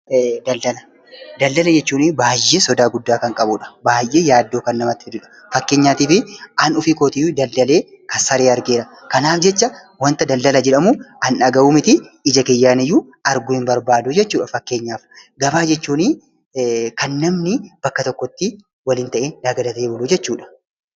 Daldala Daldala jechuun baayyee sodaa guddaa kan qabudha. Baayyee fakkeenyaaf ani ofii keetii daldalee kisaaree argeera kanaaf jecha waanta daldala jedhamu an dhagahuu mitii ija kiyyaan arguu hin barbaaduu jechuudha. Fakkeenyaaf gabaa jechuun kan namni bakka tokkotti waliin ta'ee nagadatee buluu jechuudha.